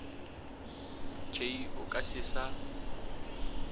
k o ka se sa